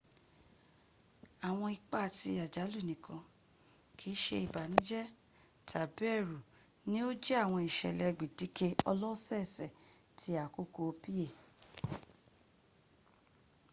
awọn ipa ti ajalu nikan kiise ibanujẹ tabi ẹru ni o jẹ awọn isẹlẹ gbẹdẹkẹ ọlọsọọsẹ ti akoko pa